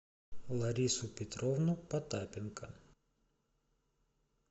ларису петровну потапенко